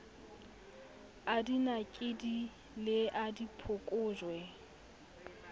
a dinakedi le a diphokojwe